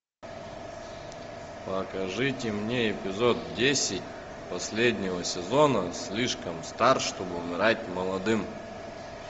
покажите мне эпизод десять последнего сезона слишком стар чтобы умирать молодым